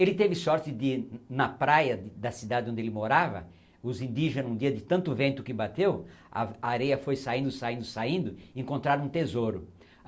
Ele teve sorte de, na praia da cidade onde ele morava, os indígena, um dia, de tanto vento que bateu, a a areia foi saindo, saindo, saindo, encontraram um tesouro.